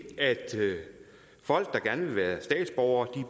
at folk der gerne vil være statsborgere